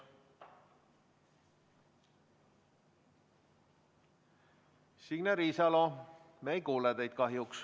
Signe Riisalo, me kahjuks ei kuule teid.